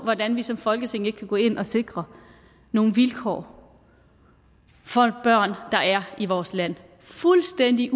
hvordan vi som folketing ikke kan gå ind og sikre nogle vilkår for børn der er i vores land fuldstændig